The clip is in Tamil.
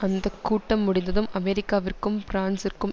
அந்த கூட்டம் முடிந்ததும் அமெரிக்காவிற்கும் பிரான்சிற்கும்